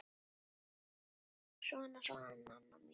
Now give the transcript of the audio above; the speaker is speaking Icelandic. Svona, svona, Nanna mín.